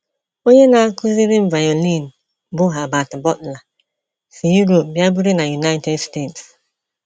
Onye na - akụziri m violin, bụ́ Herbert Butler, si Europe bịa biri na United States.